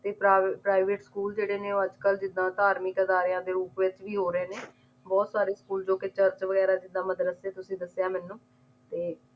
ਤੇ ਪਰਾ private school ਜਿਹੜੇ ਨੇ ਅੱਜ ਕੱਲ ਜਿਦਾਂ ਧਾਰਮਿਕ ਅਦਾਰਿਆਂ ਦੇ ਰੂਪ ਵਿੱਚ ਵੀ ਹੋ ਰਹੇ ਨੇ ਬਹੁਤ ਸਾਰੇ school ਜੋ ਕਿ ਚਰਚ ਵਗੈਰਾ ਜਿਦਾਂ ਮਦਰਸੇ ਤੁਸੀ ਦੱਸਿਆ ਮੈਂਨੂੰ ਤੇ